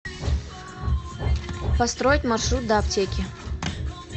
построить маршрут до аптеки